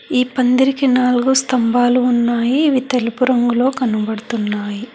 ఈ పందిరికి నాలుగు స్తంభాలు ఉన్నాయి అవి తెలుపు రంగులో కనబడుతున్నాయి.